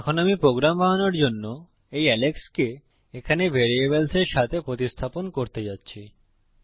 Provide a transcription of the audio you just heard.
এখন আমি প্রোগ্রাম বানানোর জন্য এই এলেক্সকে এখানে ভ্যারিয়েবলস এর সাথে প্রতিস্থাপন করতে যাচ্ছি